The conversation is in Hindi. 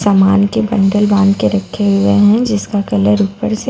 सामान के बंडल बांध के रखे हुए हैं जिसका कलर ऊपर से --